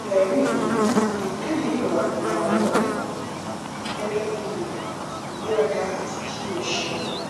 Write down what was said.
fẹri mi eyikeyi irawọleboyin gẹgẹ bi rẹ igberaga ati ki o ṣeun